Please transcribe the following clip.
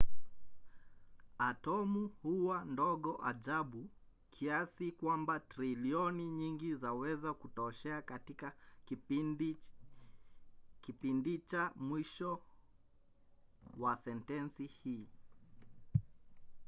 atomu huwa ndogo ajabu kiasi kwamba trilioni nyingi zaweza kutoshea katika kipindicha mwisho wa sentensi hii